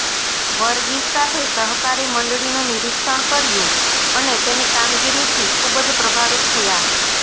વર્ગીસ સાથે સહકારી મંડળીનુ નિરીક્ષણ કર્યુ અને તેની કામગીરી થી ખુબજ પ્રભાવિત થયા